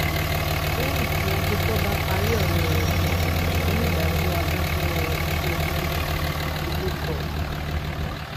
lẹyìn tí agbèfọba parí ọrọ rẹ ní onídàájọ adájọ iléẹjọ náà abilékọ e